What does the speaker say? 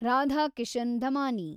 Radhakishan Damani